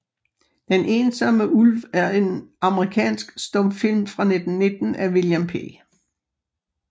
Den ensomme Ulv er en amerikansk stumfilm fra 1919 af William P